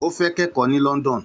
Ó fẹ́ kẹ́kọ̀ọ́ ní London